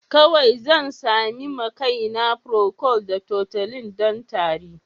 Kawai zan sami ma kaina procold da tutolin don tari.